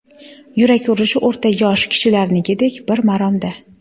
Yurak urishi o‘rta yosh kishilarnikidek bir maromda.